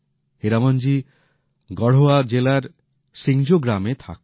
হীরামনজি গঢ়ওয়া জেলার সিংজো গ্রামে থাকেন